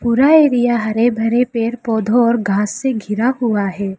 पूरा एरिया हरे भरे पेड़ पौधो और घास से घिरा हुआ है।